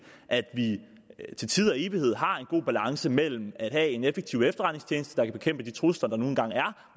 at vi til tid og evighed har en god balance mellem at have en effektiv efterretningstjeneste der kan bekæmpe de trusler der nu engang er